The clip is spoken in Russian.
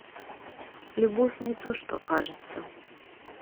любовь не то что кажется